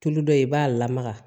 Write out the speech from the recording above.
Tulu dɔ ye i b'a lamaga